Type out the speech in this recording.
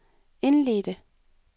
indledte